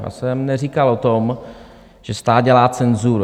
Já jsem neříkal o tom, že stát dělá cenzuru.